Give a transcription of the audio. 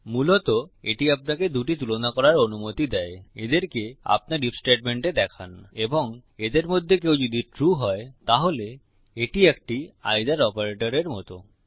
মূলত এটি আপনাকে দুটি তুলনা করার অনুমতি দেয় এদেরকে আপনার আইএফ স্টেটমেন্টে দেখান এবং এদের মধ্যে কেউ যদি ট্রু হয় তাহলে এটি একটি এইথের অপারেটরের মত